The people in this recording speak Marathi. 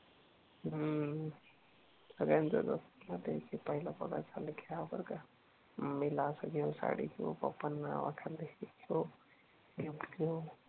हम्म. सगळ्यांचंच असतं ना ते कि, पहिला पगार झाला की जाऊ बर का मम्मी ला असं घेऊ साडी घेऊ, पप्पा ना गिफ्ट घेऊ